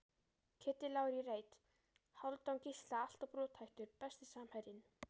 Kiddi Lár í reit, Hálfdán Gísla alltof brothættur Besti samherjinn?